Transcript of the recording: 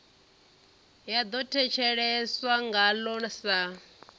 ya ḓo thetsheleswa ngaḽo sa